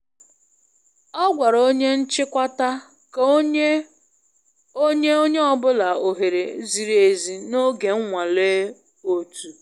Ọ gwara onye nchịkwata ka o nye o nye onye ọ bụla ohere ziri ezi n'oge nnwale otu.